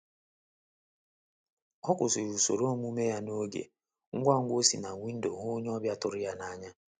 Ọ kwụsịrị usoro omume ya n'oge ngwangwa o si na windo hụ onye ọbịa tụrụ ya n'anya.